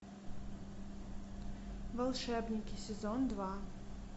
волшебники сезон два